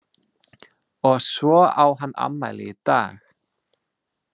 Og svo á hann afmæli í dag.